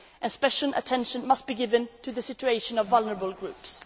rights. Special attention must be given to the situation of vulnerable